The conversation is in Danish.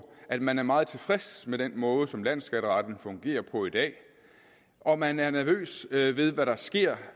at man er meget tilfredse med den måde som landsskatteretten fungerer på i dag og at man er nervøs ved ved hvad der sker